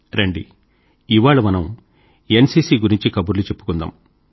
రండి ఇవాళ మనం ఎన్సీసీ గురించి కబుర్లు చెప్పుకుందాం